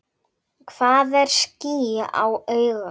Hvað er ský á auga?